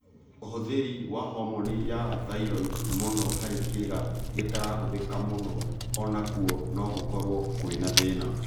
ũhũthĩri wa homoni ya thyroid muno harĩ kĩga gĩtarahũthĩka mũno, onakuo nogũkorwo kwĩ thĩna